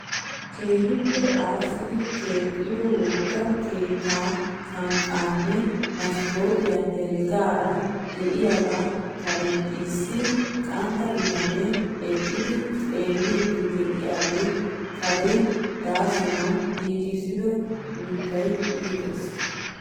Keehippe aassidi keexxido wogga keettaa sanqqaanne maskootiya heregaagara diyaga karen issi qantta bitanee eqqidi xeelliiddi de'iyoge karen daasanawu giigissido mittay iites!